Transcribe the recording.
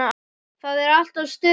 Það er alltaf stuð þar.